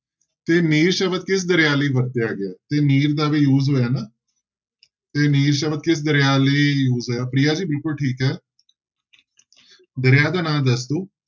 ਤੇ ਨੀਲ ਸ਼ਬਦ ਕਿਸ ਦਰਿਆ ਲਈ ਵਰਤਿਆ ਗਿਆ ਹੈ ਤੇ ਨੀਲ ਦਾ ਵੀ use ਹੋਇਆ ਨਾ ਤੇ ਨੀਲ ਸ਼ਬਦ ਕਿਸ ਦਰਿਆ ਲਈ use ਹੋਇਆ ਪ੍ਰਿਆ ਜੀ ਬਿਲਕੁਲ ਠੀਕ ਹੈ ਦਰਿਆ ਦਾ ਨਾਂ ਦੱਸ ਦਓ।